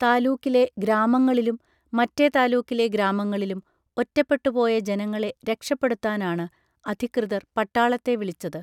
താലൂക്കിലെ ഗ്രാമങ്ങളിലും മറ്റെ താലൂക്കിലെ ഗ്രാമങ്ങളിലും ഒറ്റപ്പെട്ടുപോയ ജനങ്ങളെ രക്ഷപ്പെടുത്താനാണ് അധികൃതർ പട്ടാളത്തെ വിളിച്ചത്